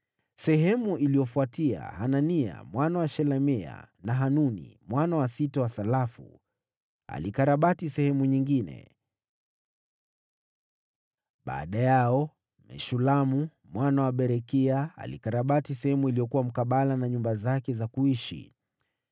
Baada yake, Hanania mwana wa Shelemia, na Hanuni mwana wa sita wa Salafu walikarabati sehemu nyingine. Baada yao, Meshulamu mwana wa Berekia alikarabati sehemu iliyokuwa mkabala na nyumba zake za kuishi.